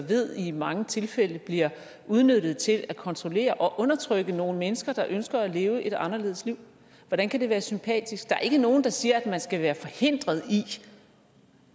ved i mange tilfælde bliver udnyttet til at kontrollere og undertrykke nogle mennesker der ønsker at leve et anderledes liv hvordan kan det være sympatisk der er ikke nogen der siger at man skal være forhindret i